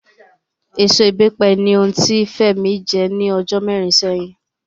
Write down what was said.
Èso Ìbẹ́pẹ ni ohun tí Fẹ́mi jẹ́ ní ọjọ́ mẹ́rin sẹ́yìn